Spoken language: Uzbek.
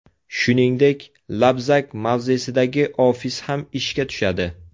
Shuningdek, Labzak mavzesidagi ofis ham ishga tushadi.